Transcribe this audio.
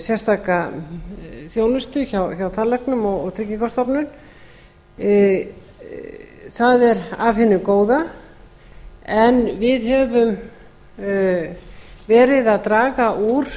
sérstaka þjónustu hjá tannlæknum og tryggingastofnun það er af hinu góða en við höfum verið að draga úr